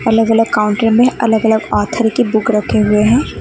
अलग अलग काउंटर में अलग अलग आथॉर की बुक रखे हुए हैं।